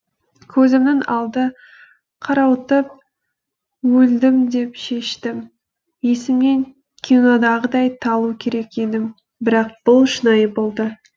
көзімнің алды қарауытып өлдім деп шештім есімнен кинодағыдай талу керек едім бірақ бұл шынайы болды